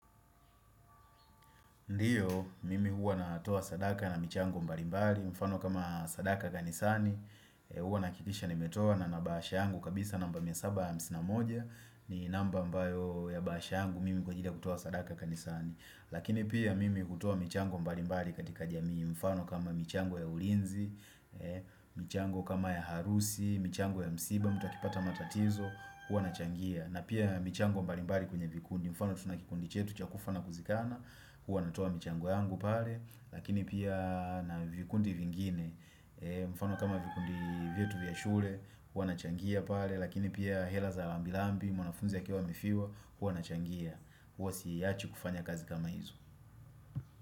Ndiyo, mimi huwa natoa sadaka na michango mbalimbari, mfano kama sadaka kanisani, huwa nakikisha nimetoa na na bahasha yangu kabisa namba mia saba ya hamsini na moja ni namba ambayo ya bahasha yangu mimi kwa ajili kutoa sadaka kanisani Lakini pia mimi hutoa michango mbalimbali katika jamii mfano kama michango ya ulinzi, michango kama ya harusi, michango ya msiba, mtu akipata matatizo, huwa nachangia na pia michango mbalimbali kwenye vikundi mfano tuna kikundi chetu cha kufa na kuzikana Huwa natoa michango yangu pale Lakini pia na vikundi vingine mfano kama vikundi vyetu vya shule Huwa nachangia pale Lakini pia hela za rambirambi mwanafunzi akiwa amefiwa Huwa nachangia Huwa siiachi kufanya kazi kama hizo.